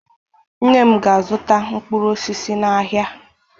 Nne m ga-azụta mkpụrụ osisi n'ahịa.